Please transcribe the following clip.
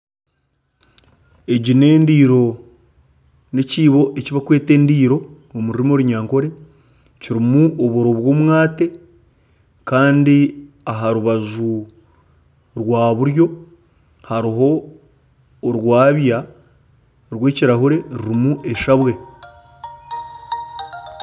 Egi neendiiro nekiibo ekibarikweta endiiro omu rurimi orunyankore kirimu oburo bwomwaate Kandi aha rubaju rwa buryo hariho orwabya rwekirahuri rurimu eshabwe